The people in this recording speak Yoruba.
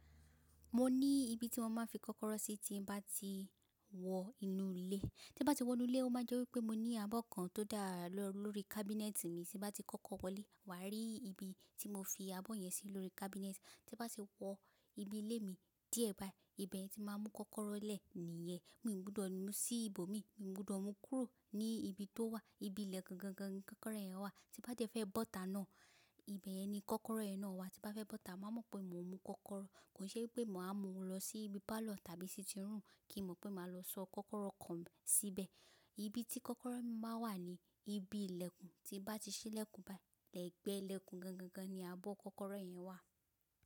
Mo ní ibi tí mo máa ń fi kọ́kọ́rọ́ sí tí bá ti wọ inú ilé. Tí bá ti wọ inú ilé, ó máa jẹ́ wípé mo ní abọ́ kan tó dà lọ́rù lórí kábínẹ́ẹ̀tì mi tí bá ti kọ́kọ́ wọlé, wà á rí ibi tí mo fi abọ́ yẹn sí lórí kábínẹ́ẹ̀tì. Tí bá ti wọ ibi ilé mi díẹ̀ bá, ibẹ̀ ni tí máa mú kọ́kọ́rọ́ lẹ̀ nìyẹn. Mi ò gbọdọ̀ mú sí ibòmí, mi ò gbọdọ̀ mú kúrò ní ibi tó wà. Ibi ilẹkun gangan ni kọ́kọ́rọ́ yẹn wà. Tí bá dẹ fẹ́ bọ́ta náà, ibẹ̀ yẹn ni kọ́kọ́rọ́ yẹn náà wà. Tí bá fẹ́ bọ́ta, máa mọ̀ pé mo mú kọ́kọ́rọ́. Kò ṣe pé màá mú un lọ sí ibi pálọ̀ tàbí sí sitirum kí n mọ̀ pé màá lọ sọ kọ́kọ́rọ́ kan nu síbẹ̀. Ibi tí kọ́kọ́rọ́ mi máa ń wà ni ibi ìlẹ̀kùn. Tí bá ti ṣí ìlẹ̀kùn báyìí, ẹ́gbẹ̀ẹ́ ìlẹ̀kùn gangan ni abọ́ kọ́kọ́rọ́ yẹn wà.